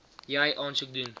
jy aansoek doen